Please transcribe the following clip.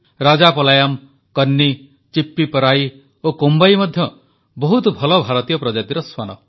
ରାଜାପଲାୟମ୍ କନ୍ନି ଚିପ୍ପିପରାଇ ଓ କୋମ୍ବାଇ ମଧ୍ୟ ବହୁତ ଭଲ ଭାରତୀୟ ପ୍ରଜାତିର ଶ୍ୱାନ